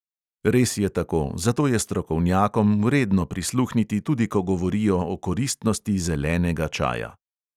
Res je tako, zato je strokovnjakom vredno prisluhniti tudi, ko govorijo o koristnosti zelenega čaja.